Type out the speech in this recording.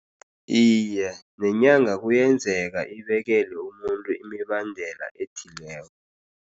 Iye, nenyanga kuyenzeka ibekele umuntu imibandela ethileko.